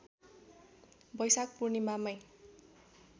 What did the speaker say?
वैशाख पूर्णिमामै